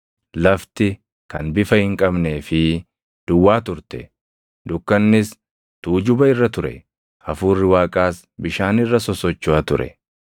Lafti kan bifa hin qabnee fi duwwaa turte; dukkannis tuujuba irra ture; Hafuurri Waaqaas bishaan irra sosochoʼa ture.